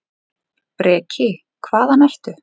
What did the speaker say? Breki: Hvað, hvaðan ertu?